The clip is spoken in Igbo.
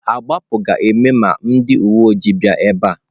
Agbapụ ga-eme ma ndị uwe ojii bịa ebe a.